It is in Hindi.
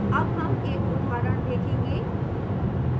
अब हम एक उदाहरण देखेंगे